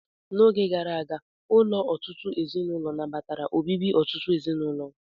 N'oge gara aga, ụlọ ọtụtụ ezinụlọ nabatara obibi ọtụtụ ezinụlọ.